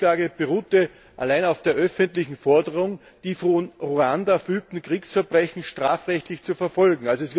Die Anklage beruhte allein auf der öffentlichen Forderung, die von Ruanda vollführten Kriegsverbrechen strafrechtlich zu verfolgen.